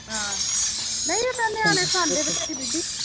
ਹਾਂ, ਨਹੀਂ ਉਹ ਤਾਂ ਨਿਆਣੇ ਖਾਂਦੇ ਬਥੇਰੀ ਬੀਬੀ।